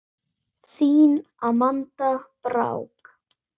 Þín Amanda Brák.